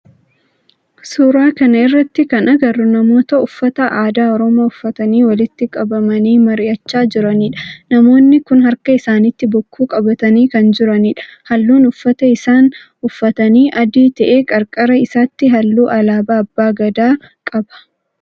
Suuraa kana irratti kan agarru namoota uffata aadaa oromoo uffatanii walitti qabamanii mari'achaa jiranidha. Namoonni kun harka isaanitti bokkuu qabatanii kan jiranidha. Halluun uffata isaan uffatanii adii ta'ee qarqara isaatii halluu alaabaa abbaa Gadaa qaba.